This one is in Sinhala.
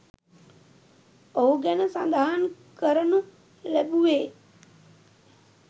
ඔහු ගැන සඳහන් කරනු ලැබුවේ